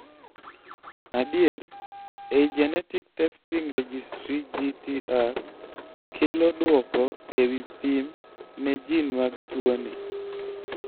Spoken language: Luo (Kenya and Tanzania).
adier, ei Genetic Testing Registry(GTR) kelo duoko ewi pim ne jin mag tuo ni